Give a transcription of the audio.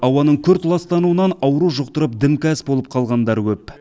ауаның күрт ластануынан ауру жұқтырып дімкәс болып қалғандары көп